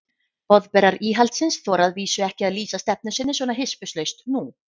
Boðberar íhaldsins þora að vísu ekki að lýsa stefnu sinni svona hispurslaust nú.